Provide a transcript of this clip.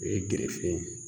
O ye gɛrɛsɛgɛ ye